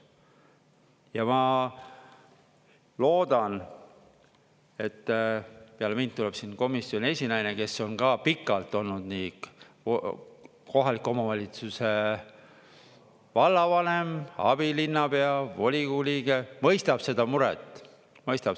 Ja ma loodan, et peale mind tuleb siin komisjoni esinaine, kes on ka pikalt olnud nii kohaliku omavalitsuse vallavanem, abilinnapea, volikogu liige, mõistab seda muret.